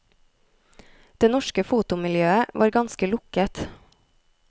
Det norske fotomiljøet var ganske lukket.